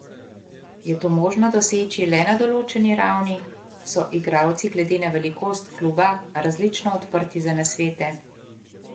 Je to možno doseči le na določeni ravni, so igralci glede na velikost kluba različno odprti za nasvete?